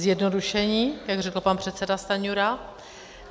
Zjednodušení, jak řekl pan předseda Stanjura.